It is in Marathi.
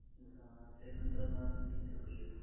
अं second time ला तीनशे रुपये घेतो